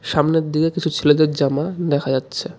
সামনের দিকে কিছু ছেলেদের জামা দেখা যাচ্ছে.